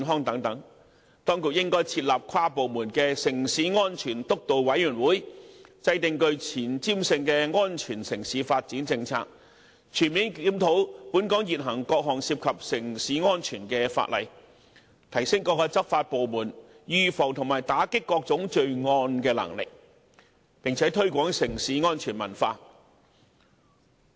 當局應設立跨部門城市安全督導委員會，制訂具前瞻性的安全城市發展政策，全面檢討現行各項城市安全相關法例，提升各執法部門預防及打擊各種罪案的能力，並且推廣城市安全文化。